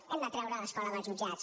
hem de treure l’escola dels jutjats